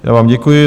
Já vám děkuji.